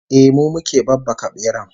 Ehh, mu muke babbaka beran